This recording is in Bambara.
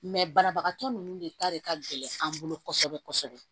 banabagatɔ ninnu de ta de ka gɛlɛn an bolo kosɛbɛ kosɛbɛ